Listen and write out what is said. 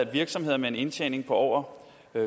virksomheder med en indtjening på over